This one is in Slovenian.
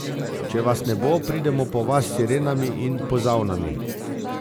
Če vas ne bo, pridemo po vas s sirenami in pozavnami.